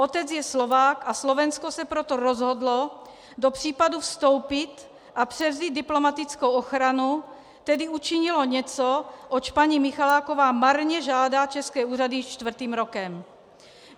Otec je Slovák, a Slovensko se proto rozhodlo do případu vstoupit a převzít diplomatickou ochranu, tedy učinilo něco, oč paní Michaláková marně žádá české úřady již čtvrtým rokem.